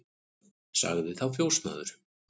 Sagði þá fjósamaður